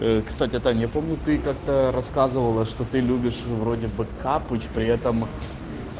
кстати тань я помню ты как-то рассказывала что ты любишь вроде бы капыч при этом